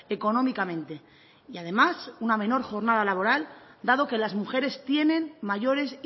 económicamente y además una menor jornada laboral dado que las mujeres tienen mayores